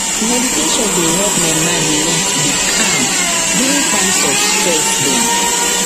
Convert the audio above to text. meditation dey help my mind learn to dey calm during times of stress drm